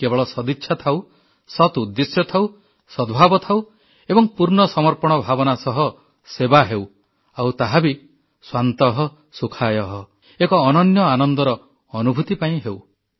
କେବଳ ସଦିଚ୍ଛା ଥାଉ ସତ୍ ଉଦ୍ଦେଶ୍ୟ ଥାଉ ସଦ୍ଭାବ ଥାଉ ଏବଂ ପୂର୍ଣ୍ଣ ସମର୍ପଣ ଭାବନା ସହ ସେବା ହେଉ ଆଉ ତାହା ବି ସ୍ୱାନ୍ତଃ ସୁଖାୟ ଏକ ଅନନ୍ୟ ଆନନ୍ଦର ଅନୁଭୂତି ପାଇଁ ହେଉ